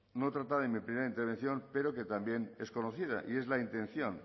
no tratada en mi primera intervención pero que también es conocida y es la intención